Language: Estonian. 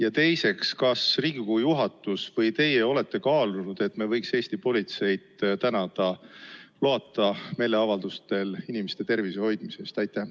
Ja teiseks: kas Riigikogu juhatus või teie olete kaalunud, et me võiksime Eesti politseid tänada loata meeleavaldustel inimeste tervise hoidmise eest?